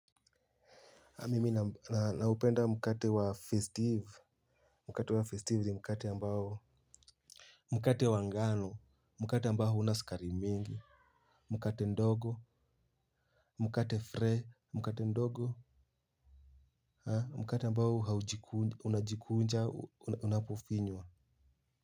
Mimi na upenda mkate wa festive mkate wa festive ni mkate ambao mkate wa ngano mkate ambao huna sukari mingi mkate ndogo mkate fre mkate ndogo mkate ambao unajikunja unapofinywa.